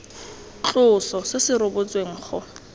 tloso se se rebotsweng go